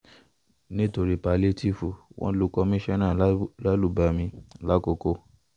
nítorí pálíétììfù wọn lu kọ́mọnsànnà lálùbami làkòkò